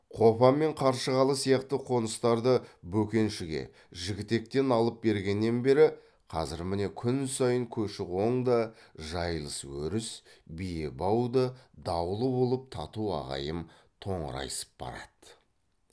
қопа мен қаршығалы сияқты қоныстарды бөкеншіге жігітектен алып бергеннен бері қазір міне күн сайын көші қоң да жайылыс өріс биебау да даулы болып тату ағайым тоңырайысып барады